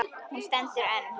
Hún stendur enn.